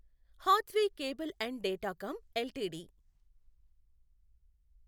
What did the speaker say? Hathway cable and Datacom limited